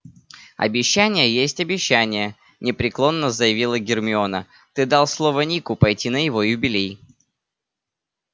обещание есть обещание непреклонно заявила гермиона ты дал слово нику пойти на его юбилей